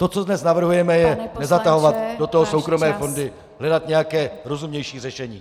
To, co dnes navrhujeme, je nezatahovat do toho soukromé fondy, hledat nějaké rozumnější řešení.